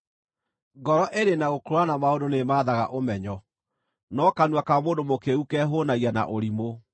Ngoro ĩrĩ na gũkũũrana maũndũ nĩĩmaathaga ũmenyo, no kanua ka mũndũ mũkĩĩgu kehũũnagia na ũrimũ.